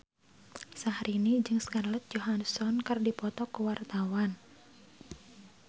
Syahrini jeung Scarlett Johansson keur dipoto ku wartawan